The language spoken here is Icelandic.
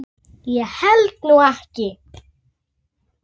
Sjáðu, sagði hann.